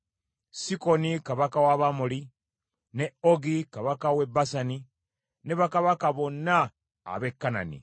Sikoni kabaka w’Abamoli, ne Ogi kabaka w’e Basani ne bakabaka bonna ab’e Kanani.